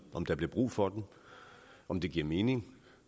om der bliver brug for dem om det giver mening